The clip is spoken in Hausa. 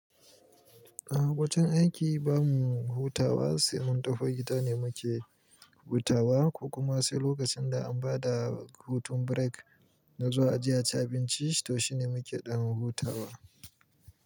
A'a, wajen aiki ba mu hutawa, sai mun tafi gida ne muke hutawa, ko kuma sai lokacin da an ba da hutun break na zuwa aje a ci abinci to shine muke dan hutawa.